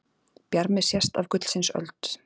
Bjarmi sést af gullsins öld.